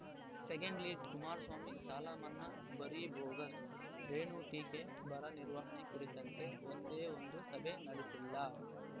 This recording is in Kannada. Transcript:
ಸೆಕೆಂಡ್‌ಲೀಡ್‌ ಕುಮಾರಸ್ವಾಮಿ ಸಾಲ ಮನ್ನಾ ಬರೀ ಬೋಗಸ್‌ ರೇಣು ಟೀಕೆ ಬರ ನಿರ್ವಹಣೆ ಕುರಿತಂತೆ ಒಂದೇ ಒಂದು ಸಭೆ ನಡೆಸಿಲ್ಲ